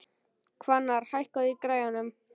Hvannar, hækkaðu í græjunum.